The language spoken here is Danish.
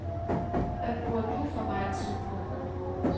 Hvad bruger du for megen tid på.